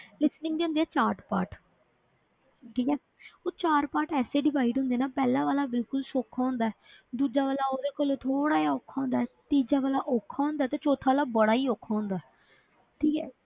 Listening ਦੇ ਹੁੰਦੇ ਆ ਚਾਰ part ਠੀਕ ਹੈ ਉਹ ਚਾਰ part ਐਸੇ divide ਹੁੰਦੇ ਨਾ ਪਹਿਲਾਂ ਵਾਲਾ ਬਿਲਕੁਲ ਸੌਖਾ ਹੁੰਦਾ ਹੈ ਦੂਜਾ ਵਾਲਾ ਉਹਦੇ ਕੋਲੋਂ ਥੋੜ੍ਹਾ ਜਿਹਾ ਔਖਾ ਹੁੰਦਾ ਹੈ, ਤੀਜਾ ਵਾਲਾ ਔਖਾ ਹੁੰਦਾ ਹੈ ਤੇ ਚੌਥਾ ਵਾਲਾ ਬੜਾ ਹੀ ਔਖਾ ਹੁੰਦਾ ਹੈ ਠੀਕ ਹੈ।